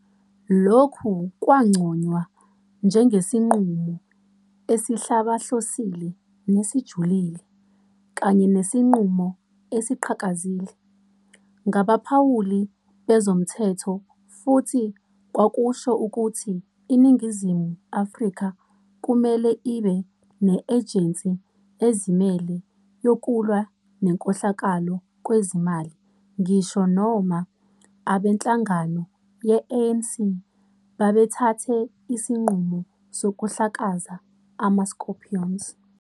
Lokhu kwanconywa njengesinqumo "esihlabahlosile nesijulile" kanye nesinqumo "esiqhakazile" ngabaphawuli bezomthetho futhi kwakusho ukuthi iNingizimu Afrika kumele ibe ne-ejensi ezimele yokulwa nenkohlakalo kwezezimali ngisho noma abenhlangano ye-ANC babethathe isinqumo sokuhlakaza ama- Scorpions.